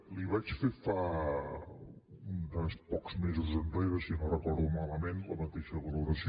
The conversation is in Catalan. li vaig fer uns pocs mesos enrere si no ho recordo malament la mateixa valoració